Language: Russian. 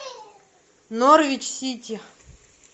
норвич сити